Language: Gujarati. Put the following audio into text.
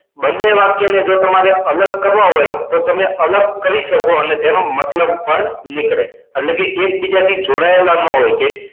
બંને વાક્ય ને જો તમારે અલગ કરવા હોય તો તમે અલગ કરી શકો અને તેનો મતલબ પણ નીકળે એટલે કે એક બીજાથી જોડાયેલા ન હોય કે